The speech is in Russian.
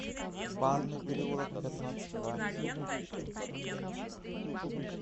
банный переулок пятнадцать в